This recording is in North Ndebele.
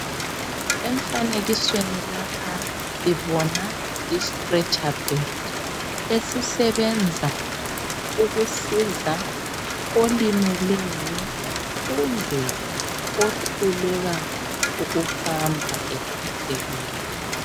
Emfanekisweni lapha sibona istretcher bed esisebenza ukusiza olimeleyo kumbe ohluleka ukuhamba ephathekile.